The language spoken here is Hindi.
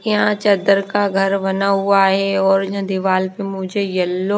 यहां चद्दर का घर बना हुआ है और ये दीवार पे मुझे येलो --